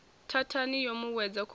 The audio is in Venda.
thathani yo mu wedza khomboni